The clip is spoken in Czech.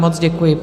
Moc děkuji.